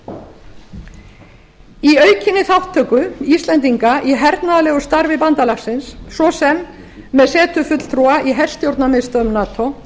í aukinni þátttöku íslendinga í hernaðarlegu starfi bandalagsins svo sem með setu fulltrúa í herstjórnarmiðstöð nato